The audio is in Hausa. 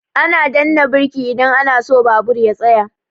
Ana danna birki idan ana so babur ya tsaya.